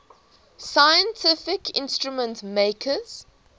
scientific instrument makers